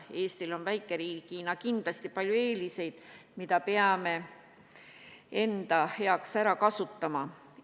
Eestil on väikeriigina kindlasti palju eeliseid, mida peame enda huvides ära kasutama.